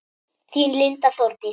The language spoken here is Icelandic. Þín Linda Þórdís.